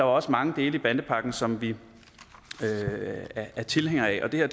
også mange dele af bandepakken som vi er tilhængere af og det her